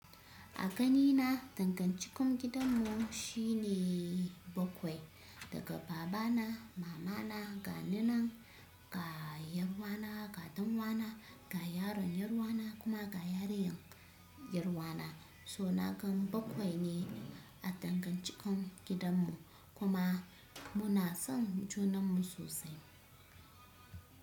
A ganina dangancikon gidanmu shi ne bakwai. Daga babana, mamana, ga ni nan, ga yar uwana, ga danwana, ga yaron yar uwana kuma ga yariyar yar uwana. So na gan bakwai ne a dangancikon gidanmu kuma muna son junanmu sosai.